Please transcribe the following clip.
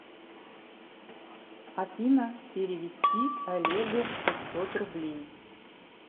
афина перевести олегу пятьсот рублей